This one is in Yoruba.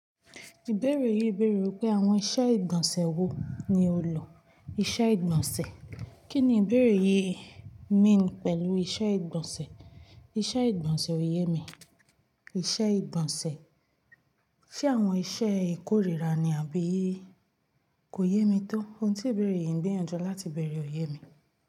Ìbéèrè yìí béèrè wípé àwọn iṣẹ́ ìgbọ̀nsẹ̀ wo ni ó lọ? Iṣẹ́ ìgbọ̀nsẹ̀. Kí ni ìbéèrè yìí mean pẹ̀lú iṣẹ́ ìgbọ̀nsẹ̀? Iṣẹ́ ìgbọ̀nsẹ̀ oyè mi. Iṣẹ́ ìgbọ̀nsẹ̀. Ṣé àwọn iṣẹ́ ìkórìíra ni àbí? Kò yé mi tó. Ohun tí ìbéèrè yìí ń gbiyanjọi latii bèèrè oyè mi.